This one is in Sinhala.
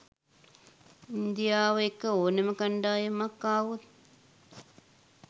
ඉන්දියාව එක්ක ඕනෑම කණ්ඩායමක් ආවොත්